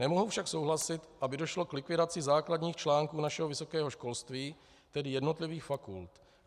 Nemohu však souhlasit, aby došlo k likvidaci základních článků našeho vysokého školství, tedy jednotlivých fakult.